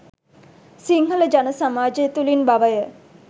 සිංහල ජන සමාජය තුළින් බවය.